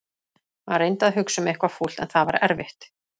Hann reyndi að hugsa um eitthvað fúlt en það var erfitt.